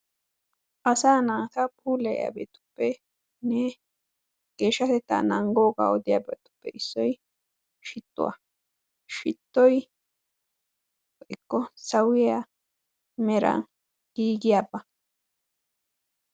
Asaa naata puulayiyagetuppenne geeshshatetta naagoogaa odiyabatuppe issoy shittuwa, shittoy woykko sawiya meran giggiyaaba.